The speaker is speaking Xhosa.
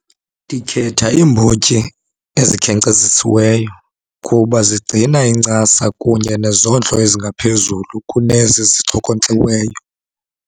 Ndikhetha iimbotyi ezikhenkcezisiweyo kuba zigcina incasa kunye nezondlo ezingaphezulu kunezi zixhokonkxiweyo.